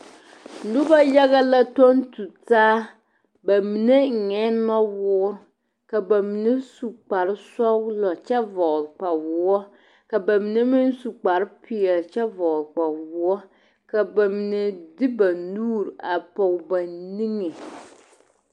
Noba yaga la tuŋ tu taa ba mine eŋɛɛ nɔwoore ka ba mine su kparre sɔglɔ kyɛ vɔgle kpawoɔ ka ba mine meŋ su kparre peɛle kyɛ vɔgle kpawoɔ ka ba mine de ba nuuri a pɔge ba niŋe.